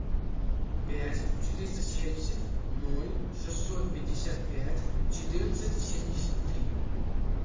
пять четыреста семьдесят ноль шестьсот пятьдесят пять четырнадцать семьдесят три